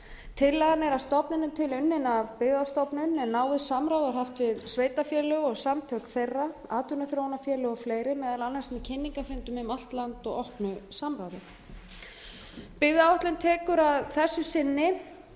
tillagan er að stofninum til unnin af byggðastofnun en náið samráð var haft við sveitarfélög og samtök þeirra atvinnuþróunarfélög og fleiri meðal annars með kynningarfundum um allt land og opnu samráði byggðaáætlun tekur að þessu sinni